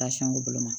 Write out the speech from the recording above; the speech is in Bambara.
Tansiyɔn b'u bolo